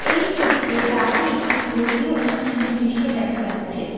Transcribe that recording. এই ছবিতে রাতে একটি ধর্মীয় অনুষ্ঠানের দৃশ্য দেখা যাচ্ছে।